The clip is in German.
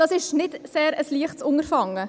Das ist kein sehr leichtes Unterfangen.